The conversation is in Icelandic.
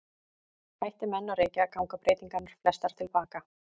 Hætti menn að reykja ganga breytingarnar flestar til baka.